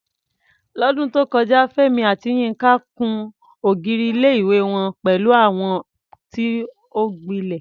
Lọ́dún tó kọjá, Fẹ́mi àti Yinka kùn ògiri ilé-ìwé wọn pẹ̀lú àwọ̀ tí ó gbilẹ̀.